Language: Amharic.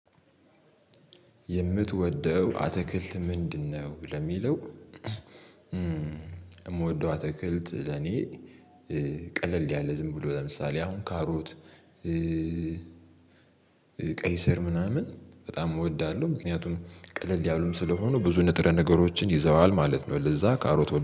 የምትወደው አትክልት ምንድነው? ለሚለው የምወደው አትክልት ለኔ ቀለል ያለ ዝም ብሎ ለምሳሌ አሁን ካሮት ቀይ ስር ምናምን በጣም እወዳለሁ። ምክንያቱም ቀለል ያሉም ስለሆነ ብዙ ንጥረ ነገሮችን ይዘዋል ማለት ነው። ለዛ ካሮት